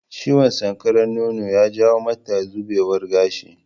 Ciwon sankarar nono ya jawo mata zubewar gashi